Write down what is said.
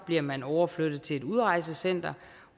bliver man overflyttet til et udrejsecenter